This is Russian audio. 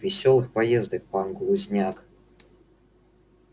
весёлых поездок пан глузняк